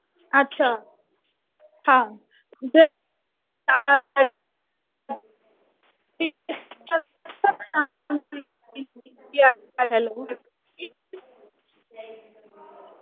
अच्छा. हा. जर